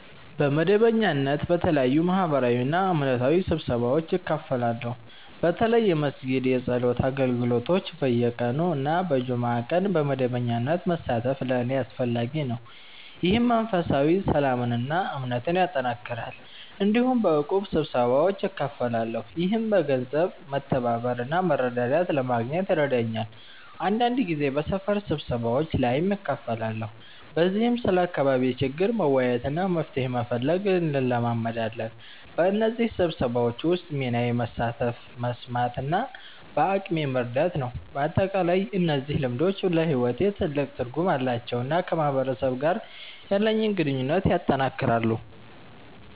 በመደበኛነት በተለያዩ ማህበራዊና እምነታዊ ስብሰባዎች እካፈላለሁ። በተለይ የመስጊድ የጸሎት አገልግሎቶች በየቀኑ እና በጁምዓ ቀን በመደበኛነት መሳተፍ ለእኔ አስፈላጊ ነው፣ ይህም መንፈሳዊ ሰላምን እና እምነትን ያጠናክራል። እንዲሁም በእቁብ ስብሰባዎች እካፈላለሁ፣ ይህም በገንዘብ መተባበር እና መረዳዳት ለማግኘት ይረዳኛል። አንዳንድ ጊዜ በሰፈር ስብሰባዎች ላይም እካፈላለሁ፣ በዚህም ስለ አካባቢ ችግር መወያየት እና መፍትሄ መፈለግ እንለማመዳለን። በእነዚህ ስብሰባዎች ውስጥ ሚናዬ መሳተፍ፣ መስማት እና በአቅሜ መርዳት ነው። በአጠቃላይ እነዚህ ልምዶች ለሕይወቴ ትልቅ ትርጉም አላቸው እና ከማህበረሰብ ጋር ያለኝን ግንኙነት ያጠናክራሉ።